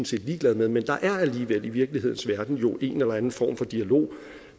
set ligeglade med men der er jo alligevel i virkelighedens verden en eller anden form for dialog